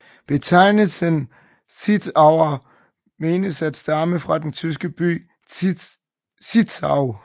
Betegnelsen Zittauer menes at stamme fra den tyske by Zittau